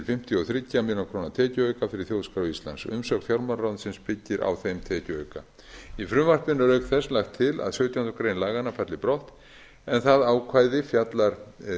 fimmtíu og þrjár milljónir króna tekjuauka fyrir þjóðskrá íslands umsögn fjármálaráðuneytisins byggir á þeim tekjuauka í frumvarpinu er auk þess lagt til að sautjánda grein laganna falli brott en það ákvæði fjallar